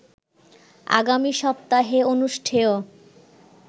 আগামী সপ্তাহে অনুষ্ঠেয়